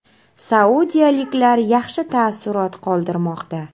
Saudiyaliklar yaxshi taassurot qoldirmoqda.